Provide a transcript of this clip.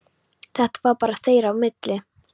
Þetta var bara þeirra á milli.